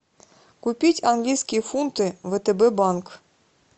купить английские фунты втб банк